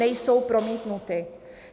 Nejsou promítnuty.